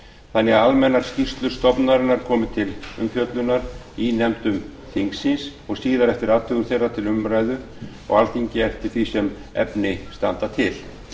þannig að almennar skýrslur stofnunarinnar komi til umfjöllunar í nefndum þingsins og síðar eftir athugun þeirra til umræðu á alþingi eftir því sem efni standa til